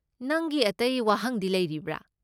ꯅꯪꯒꯤ ꯑꯇꯩ ꯋꯥꯍꯪꯗꯤ ꯂꯩꯔꯤꯕ꯭ꯔꯥ?